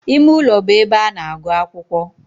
Ime ulo be ebe a na-agu akwukwo.